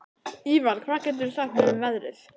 Ívar, hvað geturðu sagt mér um veðrið?